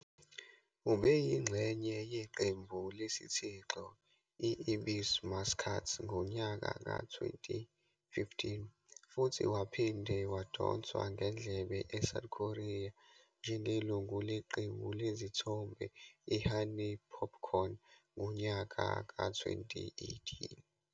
Ube yingxenye yeqembu lesithixo i-Ebisu Muscats ngonyaka ka-2015 futhi waphinde wadonswa ngendlebe eSouth Korea njengelungu leqembu lezithombe i-Honey popcorn ngonyaka ka-2018.